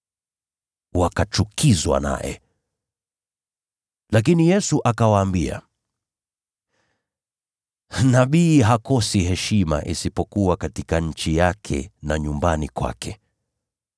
Wakachukizwa naye. Lakini Yesu akawaambia, “Nabii hakosi heshima, isipokuwa katika nchi yake na nyumbani kwake.”